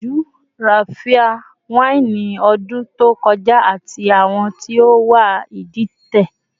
Mo gbiyanju Raphia waini odun to koja, ati awọn ti o wà iditẹ